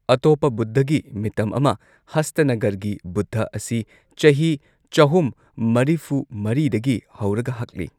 ꯑꯇꯣꯞꯄ ꯕꯨꯗꯙꯒꯤ ꯃꯤꯇꯝ ꯑꯃ, ꯍꯁꯇꯅꯒꯔꯒꯤ ꯕꯨꯗꯙ, ꯑꯁꯤ ꯆꯍꯤ ꯆꯍꯨꯝ ꯃꯔꯤꯐꯨ ꯃꯔꯤꯗꯒꯤ ꯍꯧꯔꯒ ꯍꯛꯂꯤ꯫